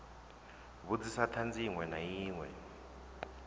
vhudzisa thanzi inwe na inwe